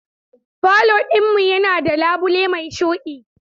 Falo ɗin mu yana da labule mai shuɗi.